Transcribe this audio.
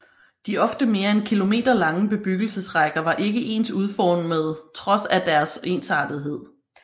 De ofte mere end kilometerlange bebyggelsesrækker var ikke ens udformede trods af deres ensartethed